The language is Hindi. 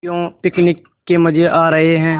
क्यों पिकनिक के मज़े आ रहे हैं